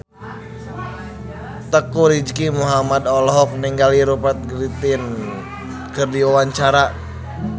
Teuku Rizky Muhammad olohok ningali Rupert Grin keur diwawancara